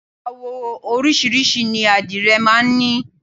Àwọ oríṣiríṣi ni àdìrẹ máa ń ní.